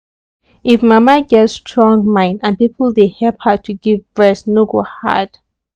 if mama get strong mind and people dey help her to give breast no go hard.